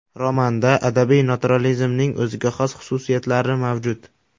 Romanda adabiy naturalizmning o‘ziga xos xususiyatlari mavjud.